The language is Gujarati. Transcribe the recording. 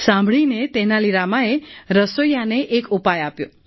સાંભળીને તેનાલી રામાએ રસોઈયાને એક ઉપાય આપ્યો